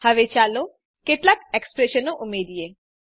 હવે ચાલો કેટલાક એક્સ્પ્રેશનો ઉમેરિયે